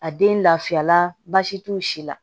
A den lafiya la baasi t'o si la